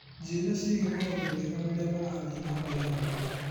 Njĩra ciĩgiĩ maũndũ mega marĩa marathiĩ na mbere haha.